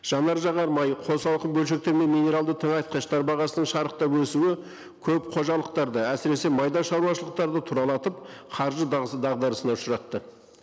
жанар жағармайы қосалқы бөлшектер мен минералды тыңайтқыштар бағасының шарықтап өсуі көп қожалықтарды әсіресе майда шаруашылықтарды тұралатып қаржы дағдарысына ұшыратты